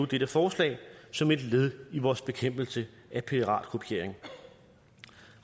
dette forslag som et led i vores bekæmpelse af piratkopiering